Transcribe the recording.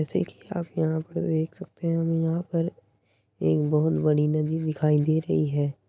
जैसे की आप यहाँ पर देख सकते हैं हम यहाँ पर एक बोहोत बड़ी नदी दिखाई दे रही है।